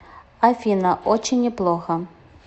афина очень неплохо